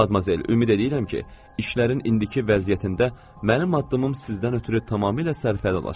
Madmazel, ümid eləyirəm ki, işlərin indiki vəziyyətində mənim addımım sizdən ötrü tamamilə sərfəli olacaq.